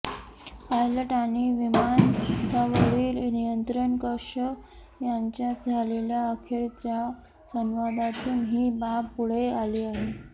pilot आणि विमानतळवरील निंयत्रण कक्ष यांच्यात झालेल्या अखेरच्या संवादातून ही बाब पुढे आली आहे